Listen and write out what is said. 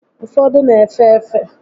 Ụfọdụ n'efe efe